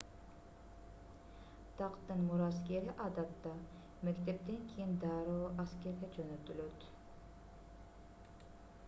тактын мураскери адатта мектептен кийин дароо аскерге жөнөтүлөт